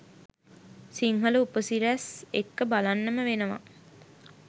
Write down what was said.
සිංහල උපසිරැස් එක්ක බලන්නම වෙනවා